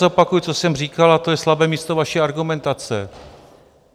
Zopakuji, co jsem říkal, a to je slabé místo vaší argumentace.